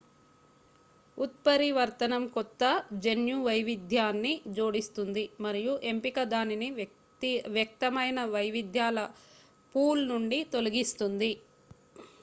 ఉత్పరివర్తనం కొత్త జన్యు వైవిధ్యాన్ని జోడిస్తుంది మరియు ఎంపిక దానిని వ్యక్తమైన వైవిధ్యాల పూల్ నుండి తొలగిస్తుంది